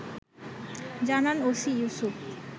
জানান ওসি ইউসুফ